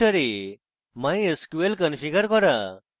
কম্পিউটারে mysql configure করা